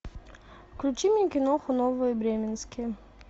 включи мне киноху новые бременские